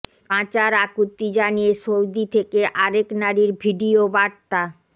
বাঁচার আকুতি জানিয়ে সৌদি থেকে আরেক নারীর ভিডিও বার্তা